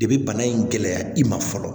De bi bana in gɛlɛya i ma fɔlɔ